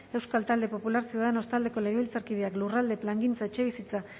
euskal talde popular ciudadanos taldeko legebiltzarkideak lurralde plangintza etxebizitza